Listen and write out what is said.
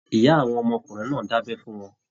Ìyá àwọn ọmọkùnrin náà dabẹ fún wọn.